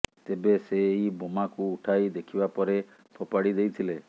ତେବେ ସେ ଏହି ବୋମାକୁ ଉଠାଇ ଦେଖିବା ପରେ ଫୋପାଡ଼ି ଦେଇଥିଲେ